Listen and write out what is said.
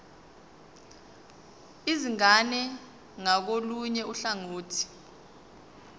izingane ngakolunye uhlangothi